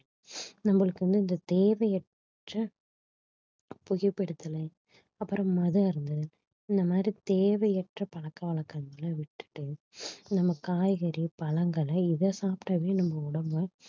நம்மளுக்கு வந்து இந்த தேவையற்ற புகைபிடித்தலை அப்புறம் மது அருந்துதல் இந்த மாதிரி தேவையற்ற பழக்க வழக்கங்களை விட்டுட்டு நம்ம காய்கறி பழங்களை இதை சாப்பிட்டாவே நம்ம உடம்ப